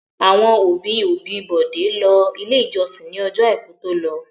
Àwọn òbí-òbí Bọ̀dé lọ Ilé-ìjọsìn ní ọjọ́ àìkú tó lọ.